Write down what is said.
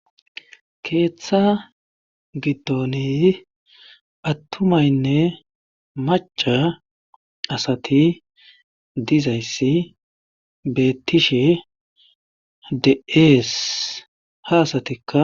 keeththa gidoni attumaynne maca asati dizayssi beettishe deees ha asatikka